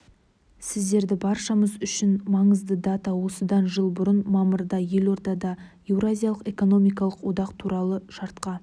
сіздерді баршамыз үшін маңызды дата осыдан жыл бұрын мамырда елордада еуразиялық экономикалық одақ туралы шартқа